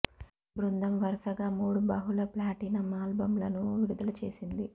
ఈ బృందం వరుసగా మూడు బహుళ ప్లాటినమ్ ఆల్బమ్లను విడుదల చేసింది